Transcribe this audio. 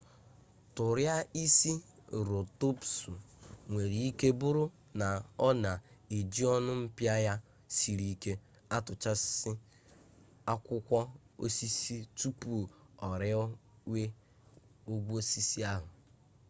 tụraịserotọpsụ nwere ike bụrụ na ọ na-eji ọnụ mpịa ya siri ike atụchasị akwụkwọ osisi tupu o riwe ogwe osisi ahụ